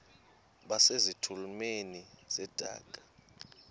base zitulmeni zedaka